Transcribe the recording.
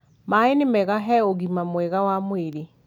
maai nĩ mega he ũgima mwega wa mwĩrĩ